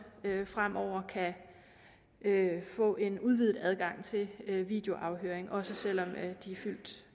fremover kan få en udvidet adgang til videoafhøring også selv om de er fyldt